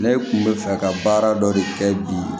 Ne kun bɛ fɛ ka baara dɔ de kɛ bi